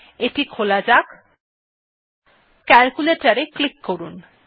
এটি খোলা যাক ক্যালকুলেটর এ ক্লিক করুন